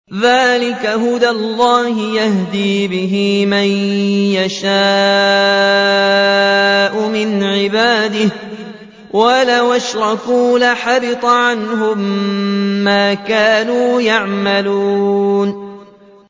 ذَٰلِكَ هُدَى اللَّهِ يَهْدِي بِهِ مَن يَشَاءُ مِنْ عِبَادِهِ ۚ وَلَوْ أَشْرَكُوا لَحَبِطَ عَنْهُم مَّا كَانُوا يَعْمَلُونَ